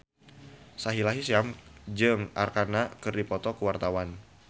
Sahila Hisyam jeung Arkarna keur dipoto ku wartawan